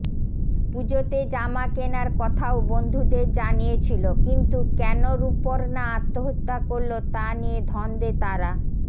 পুজোতে জামা কেনার কথাও বন্ধুদের জানিয়েছিল কিন্তু কেন রুপর্ণা আত্মহত্যা করল তা নিয়ে ধন্দে তারা